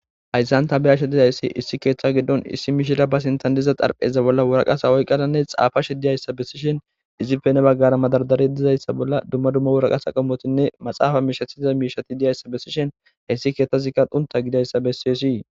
Hayssanta biyasha dizayssi issi keeththa giddon issi miishira ba sintandiza xarpheza bolla wuraqasa oyqqananne xaafash diyayssa bessishen izipene baggara madardare dizayssa bolla dumma dumma wuraqas a qamotinne maxaafa mishathiza miishati diyayssa bessishen heyssi keetthazikka qunta gidayssa bessiyesii